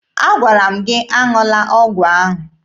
Agwara m gị aṅụla ọgwụ ahụ!